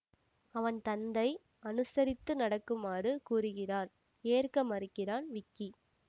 அவன் தந்தை அனுசரித்து நடக்குமாறு கூறுகிறார் ஏற்க மறுக்கிறான் விக்கி